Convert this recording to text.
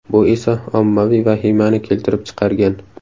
Bu esa ommaviy vahimani keltirib chiqargan.